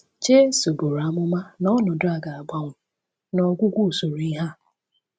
Jesu buru amụma na ọnọdụ a ga-agbanwe “n’ọgwụgwụ usoro ihe a.”